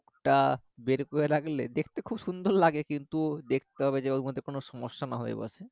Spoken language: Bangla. টা বের করে রাখলে দেখতে খুব সুন্দর লাগে কিন্তু দেখতে হবে যে ওখানে কোনো সমস্যা না হয়ে বসে